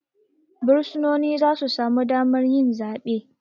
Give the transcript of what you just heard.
Bursunoni zasu samu damar yi zabe